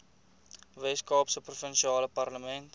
weskaapse provinsiale parlement